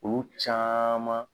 Olu caman